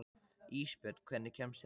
Ísbjörn, hvernig kemst ég þangað?